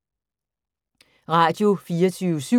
Radio24syv